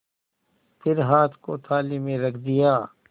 फिर हाथ को थाली में रख दिया